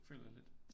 Føler jeg lidt